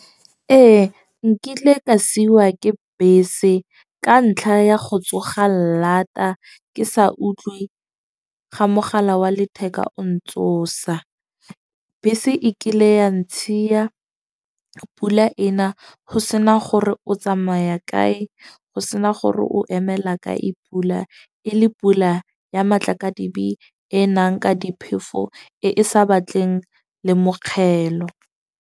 Ee, nkile ka siwa ke bese ka ntlha ya go tsoga lata, ke sa utlwe ga mogala wa letheka o ntsosa. Bese e kile ya ntshiya pula ena go sena gore o tsamaya kae, go sena gore o emela kae pula. E le pula ya matla ka dibe e nang ka diphefo e e sa batleng le mogelo.